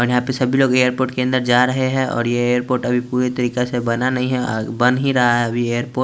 यहाँ पे सभी लोग एयरपोर्ट के अंदर जा रहे है और ये एरपोर्ट पुरी तरीके से बना नही है बन ही रहा है एरपोर्ट --